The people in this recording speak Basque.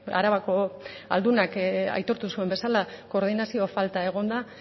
arabako aldunak aitortu zuen bezala koordinazio falta egon da